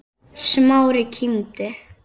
Smári kímdi.